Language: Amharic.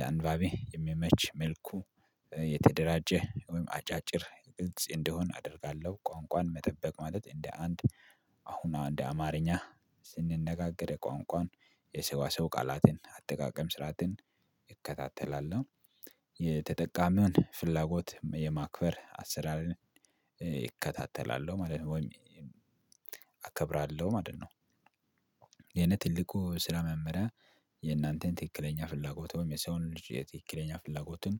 ለአንባቢ የሚመች መልኩ የተደራጀ ወይም አጫጭር ግልጽ እንደሆን አደርጋለሁ። ቋንቋን መጠበቅ ማለት እንደ አንድ አሁናው እንደ አማርኛ ስንነጋገር ቋንቋን የሰው ሰው ቃላትን አጠቃቀም ስርዓትን ይከታተላል ነው። የተጠቃሚውን ፍላጎት የማክበር አሰራር እከታተላለው ማለት ነው። ወይም አከብራለው ማለት ነው። የኔ ትልቁ ስራ መመሪያ የእናንተን ትክክለኛ ፍላጎት ወይም የሰውን ልጅ የትክክለኛ ፍላጎትን